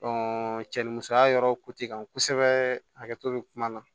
cɛ ni musoya yɔrɔ kan kosɛbɛ hakɛto bɛ kuma na